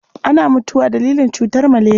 Ana mutuwa dalilin cutar maleriya.